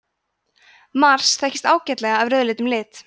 mars þekkist ágætlega af rauðleitum lit